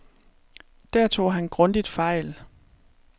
Der tog han grundigt fejl.